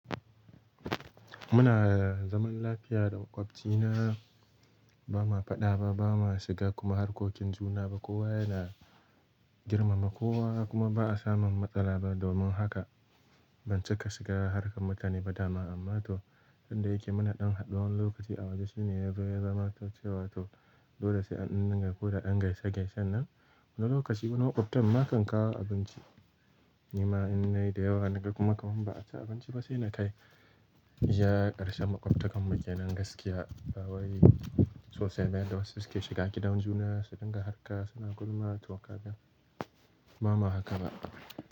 Muna zaman lafiya da maƙwabci na. Ba ma faɗa ba, ba ma shiga kuma harkokin juna ba. Kowa yana girmama kowa kuma ba a samun matsala ba. Domin haka ban cika shiga harkar mutane ba dama. Amma to, tunda yake muna ɗan haɗuwan lokaci a waje shine ya zo ya zamanto cewa to, dole sai an dinga koda dan gaisa gaisaan nan. Wani lokaci wani maƙwabta ma kan kawo abinci. Ni ma in nayi da yawa na ga kuma kamar ba a ci abinci ba sai na kai. Iya ƙarshen maƙwabta kan mu ke nan gaskiya, ba wai tsose mai yadda wasu suke shiga giɗan juna, su dinga harka suna gulma to kaga, mu ba ma haka ba.